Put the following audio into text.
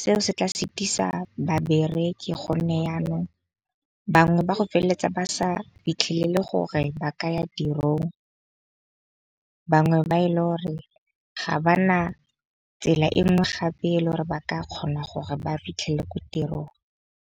seo se tla setisa babereki gonne yanong, bangwe ba go feleletsa ba sa fitlhelele gore ba ka ya tirong. Bangwe ba e le gore ga ba na tsela e nngwe gape le gore ba ka kgona gore ba fitlhele ko tirong.